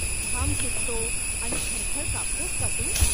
घाम सुटतो आणि थरथर कापतोस का तू?